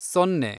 ಸೊನ್ನೆ